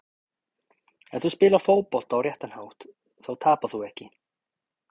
Ef þú spilar fótbolta á réttan hátt þá tapar þú ekki.